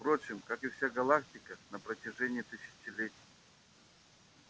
впрочем как и вся галактика на протяжении тысячелетий